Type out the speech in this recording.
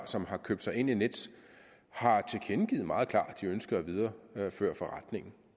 som har købt sig ind i nets har tilkendegivet meget klart at de ønsker at videreføre forretningen